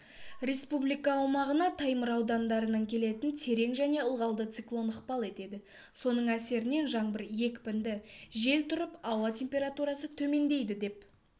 республика аумағына таймыр аудандарынан келетін терең және ылғалды циклон ықпал етеді соның әсерінен жаңбыр екпінді жел тұрып ауа температурасы төмендейді деп